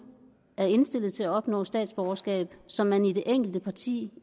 er indstillet til at opnå statsborgerskab som man i det enkelte parti